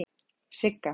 Sigga